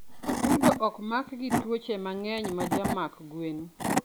atudo okmak gi twuoche mangeny majamak gwen